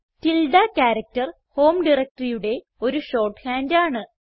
tilde character home directoryയുടെ ഒരു short hand ആണ്